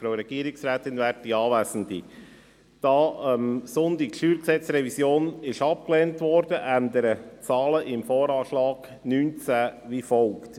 Da die StG-Revision diesen Sonntag abgelehnt wurde, ändern die Zahlen im VA wie folgt: